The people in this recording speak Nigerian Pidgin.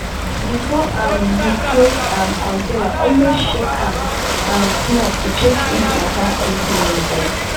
before um you close um container always shake am um small to check if any water still dey inside.